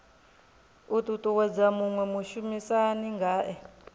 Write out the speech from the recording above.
u ṱuṱuwedza muṅwe mushumisani ngae